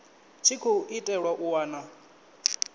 tshi khou itelwa u wana